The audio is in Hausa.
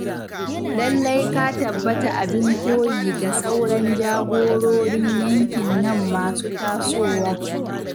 Lallai ka tabbata abin koyi ga sauran jagororin yankin nan masu tasowa.